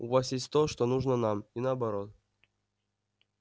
у вас есть то что нужно нам и наоборот